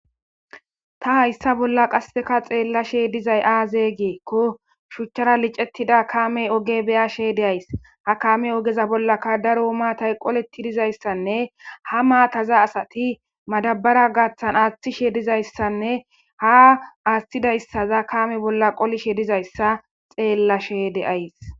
ta hayssa bolla qasseka xeellashe dizay aazee giikko shuuchchara liccettida kaamey ooge beyashe de'ays ha kaame oogeza bollaka daro maatay qolletti dizayssanne ha maataza asati madabara gaaththan aaththishe dizayssanne ha aaththidayssaza kaame bolla qolishe dizayssa xeellashe de'ays